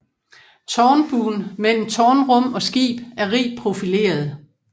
Tårnbuen mellem tårnrum og skib er rigt profileret